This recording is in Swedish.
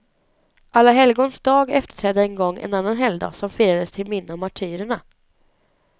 Alla helgons dag efterträdde en gång en annan helgdag som firades till minne av martyrerna.